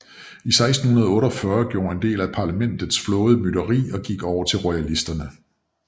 I 1648 gjorde en del af parlamentets flåde mytteri og gik over til royalisterne